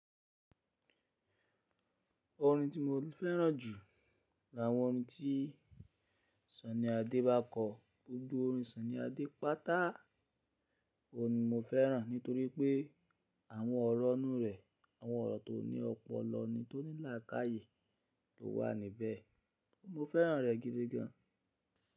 Orin tí mo fẹ́ràn jù l'àwọn orin tí Sunny Adé bá kọ. Gbogbo orin Sọ́ní Adé pátá òun ni mo fẹ́ràn nítorí pé àwọn ọ̀rọ̀ ọ́nù rẹ̀, àwọn ọ̀rọ̀ tó ní ọ̀pọ̀lọpọ̀ ní tó ní làákàyè tó wà níbẹ̀. Mo fẹ́ràn rẹ̀ gidi gan.